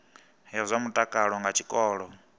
ya zwa mutakalo nga tshikolo